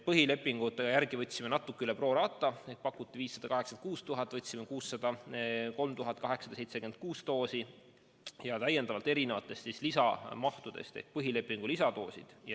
Põhilepingute järgi võtsime natuke üle pro rata: pakuti 586 000, võtsime 603 876 doosi ja täiendavalt ka erinevatest lisamahtudest ehk põhilepingu lisadoose.